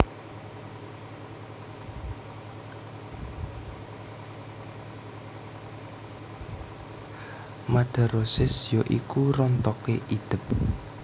Madarosis ya iku rontoké idep